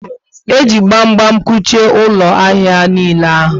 E ji gbam gbam kuchie ụlọ ahịa niile ahụ